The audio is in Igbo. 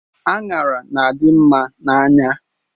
Anyara na-adimma n'anya